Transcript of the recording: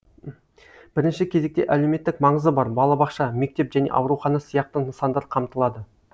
бірінші кезекте әлеуметтік маңызы бар балабақша мектеп және аурухана сияқты нысандар қамтылады